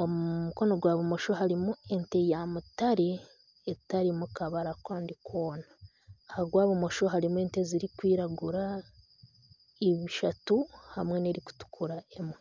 omu mukono gwa bumosho harimu ya mutare etarimu kabara kandi koona aha gwa bumosho harimu ente ezirikwiragura ishatu hamwe n'erikutukura emwe.